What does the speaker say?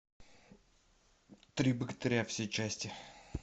три богатыря все части